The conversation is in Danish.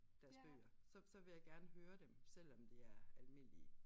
Deres bøger så så vil jeg gerne høre dem selvom det er almindelige